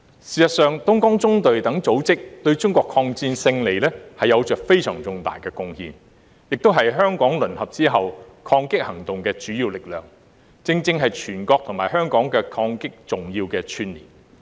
事實上，東江縱隊等組織對中國的抗戰勝利有着非常重大的貢獻，也是香港淪陷後抗擊行動的主要力量，正正是全國和香港抗戰的重要串連。